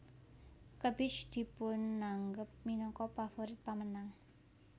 Kebich dipunanggep minangka pavorit pamenang